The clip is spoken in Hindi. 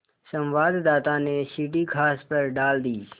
संवाददाता ने सीढ़ी घास पर डाल दी